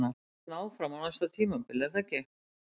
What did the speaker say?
Þú verður hérna áfram á næsta tímabili er það ekki?